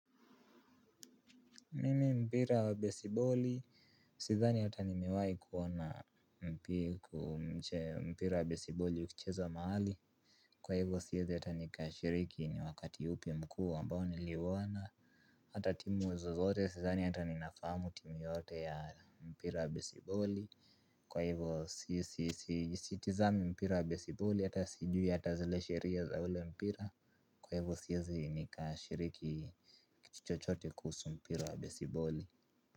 Mimi mpira wa besiboli. Sidhani hata nimiwahi kuona mpira wa besiboli ukichezwa mahali. Kwa hivyo siwezi hata nikashiriki ni wakati upi mkuu ambao liuona hata timu zozote sidhani hata nunafahamu timu yeyote ya mpira wa beisiboli. Kwa hivyo sitazami mpira wa besiboli hata sijui hata zile sheria za ule mpira. Kwa hivyo siwezi nikashiriki kitu chochote kuhusu mpira wa besiboli.